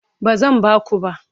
Ba zan ba ku ba.